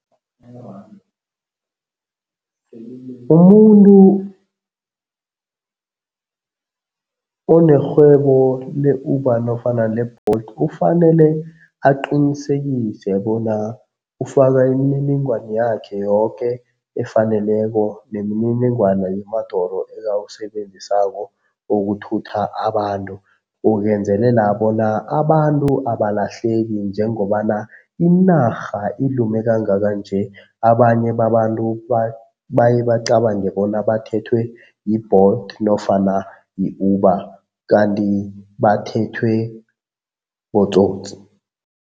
Umuntu onerhwebo le-Uber nofana le-Bolt ufanele aqinisekise bona ufaka imininingwani yakhe yoke efaneleko nemininingwana yemadoro ekawusebenzisako ukuthutha abantu, ukwenzelela bona abantu abalahleki njengobana inarha ilume kangaka nje abanye babantu baye bacabange bona bathethwe yi-Bolt nofana yi-Uber kanti bathethwe botsotsi.